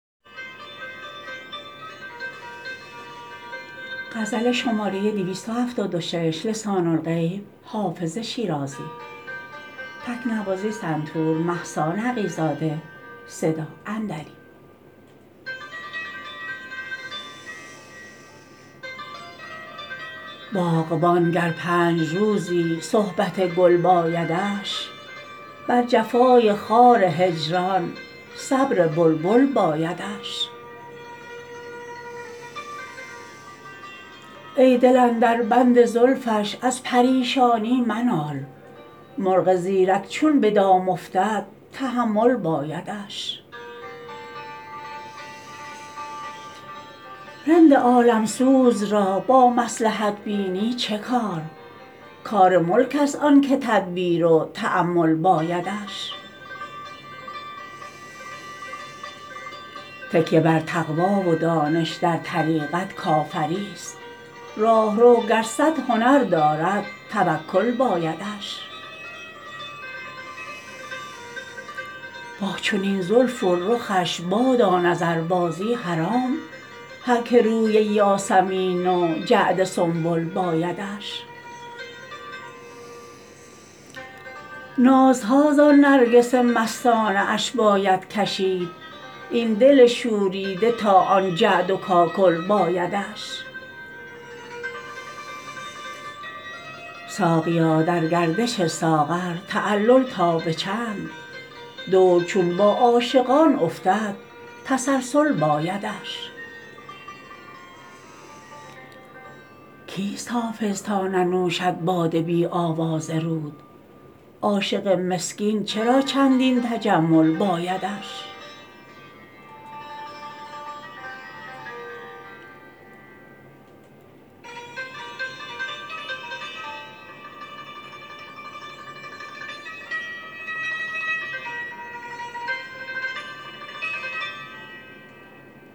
باغبان گر پنج روزی صحبت گل بایدش بر جفای خار هجران صبر بلبل بایدش ای دل اندر بند زلفش از پریشانی منال مرغ زیرک چون به دام افتد تحمل بایدش رند عالم سوز را با مصلحت بینی چه کار کار ملک است آن که تدبیر و تأمل بایدش تکیه بر تقوی و دانش در طریقت کافری ست راهرو گر صد هنر دارد توکل بایدش با چنین زلف و رخش بادا نظربازی حرام هر که روی یاسمین و جعد سنبل بایدش نازها زان نرگس مستانه اش باید کشید این دل شوریده تا آن جعد و کاکل بایدش ساقیا در گردش ساغر تعلل تا به چند دور چون با عاشقان افتد تسلسل بایدش کیست حافظ تا ننوشد باده بی آواز رود عاشق مسکین چرا چندین تجمل بایدش